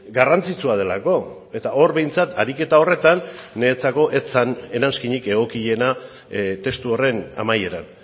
garrantzitsua delako eta hor behintzat ariketa horretan niretzako ez zen eranskinik egokiena testu horren amaieran